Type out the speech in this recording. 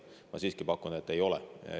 Ma siiski pakun, et ei ole.